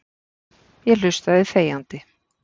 Ég hlustaði þegjandi.